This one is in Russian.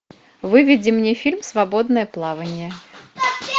выведи мне фильм свободное плавание